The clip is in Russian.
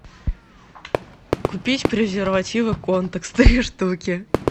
купить презервативы контекс три штуки